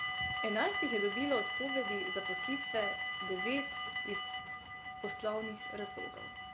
Enajst jih je dobilo odpovedi zaposlitve, devet iz poslovnih razlogov.